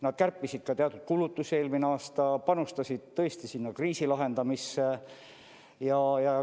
Nad kärpisid ka teatud kulutusi eelmine aasta, panustasid tõesti kriisi lahendamisse.